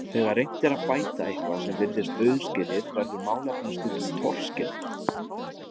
Þegar reynt er að bæta eitthvað sem virðist auðskilið verður málefnið stundum torskilið.